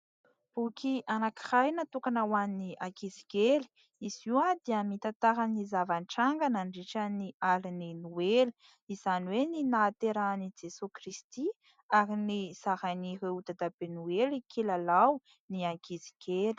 Boky anankiray natokana ho an'ny ankizy kely. Izy io dia mitantara ny zava-nitranga nandritra ny alina ny noely izany hoe ny nahaterahan'i Jesoay Kristy ary ny zarain'ireo dadabe noely kilalao ny ankizy kely.